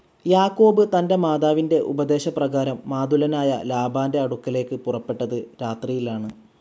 യാക്കോബ് തൻ്റെ മാതാവിൻ്റെ ഉപദേശപ്രകാരം മാതുലനായ ലാബാൻ്റെ അടുക്കലേക്കു പുറപ്പെട്ടത് രാത്രിയിൽ ആണ്.